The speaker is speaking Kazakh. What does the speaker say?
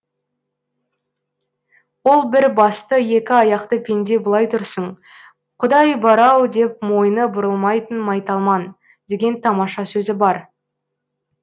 ол бір басты екі аяқты пенде былай тұрсын құдай бар ау деп мойны бұрылмайтын майталман деген тамаша сөзі бар